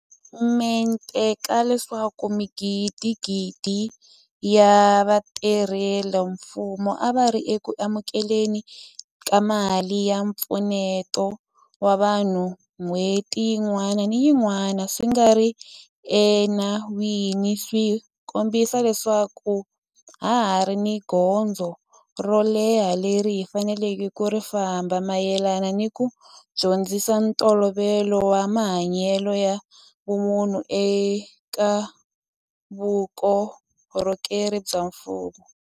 mente ka leswaku magidigidi ya vatirhela mfumo a va ri eku amukele ni ka mali ya mpfuneto wa vanhu n'hweti yin'wana ni yin'wana swi nga ri ena wini swi kombisa leswaku ha ha ri ni gondzo ro leha leri hi faneleke ku ri famba mayelana ni ku dyondzisa ntolovelo wa mahanyelo ya vumunhu eka vuko rhokeri bya mfumo.